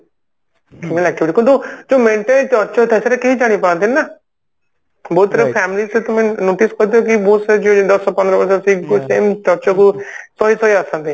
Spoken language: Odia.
କିନ୍ତୁ ଯୋଉ Mentally Touchier ଥାଏ ସେଟା କେହି ଜାଣିପାରନ୍ତି ନି ନା ବହୁତ ସାରା family ତମେ notice କରୁଥିବ କି ବହୁତ ଦଶ ପନ୍ଦର ବର୍ଷ ର ସେଇ Torture କୁ ସେମାନେ ସହି ସହି ଆସନ୍ତି